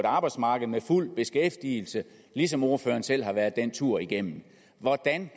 arbejdsmarked med fuld beskæftigelse ligesom ordføreren selv har været den tur igennem hvordan